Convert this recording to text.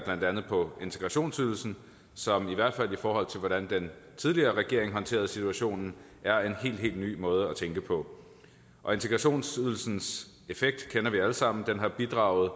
blandt andet integrationsydelsen som i hvert fald i forhold til hvordan den tidligere regering håndterede situationen er en helt helt ny måde at tænke på integrationsydelsens effekt kender vi alle sammen den har bidraget